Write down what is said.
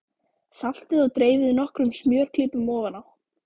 Saltið og dreifið nokkrum smjörklípum ofan á.